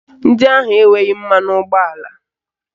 Ndị ahụ enweghị mmanụ ụgbọala